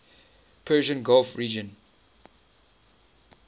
persian gulf region